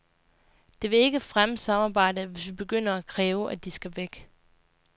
Det vil ikke fremme samarbejdet, hvis vi begynder at kræve, at de skal væk.